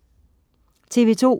TV2: